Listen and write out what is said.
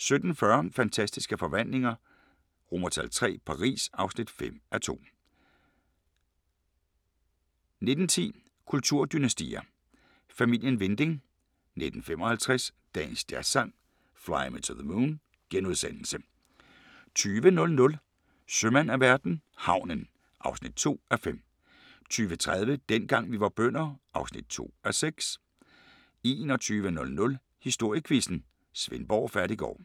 17:40: Fantastiske Forvandlinger III – Paris (5:2) 19:10: Kulturdynastier: Familien Winding 19:55: Dagens Jazzsang: Fly Me to the Moon * 20:00: Sømand af verden - havnen (2:5) 20:30: Dengang vi var bønder (2:6) 21:00: Historiequizzen: Svendborg Fattiggård